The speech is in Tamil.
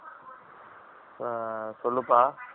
சொல்லு பா